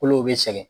Kolo bɛ sɛgɛn